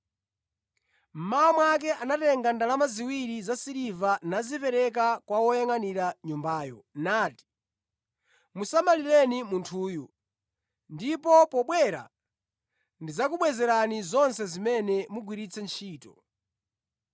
Mmawa mwake anatenga ndalama ziwiri zasiliva nazipereka kwa woyangʼanira nyumbayo, nati, ‘Musamalireni munthuyu, ndipo pobwera ndidzakubwezerani zonse zimene mugwiritse ntchito.’